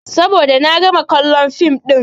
Saboda na gama kallon fim ɗin.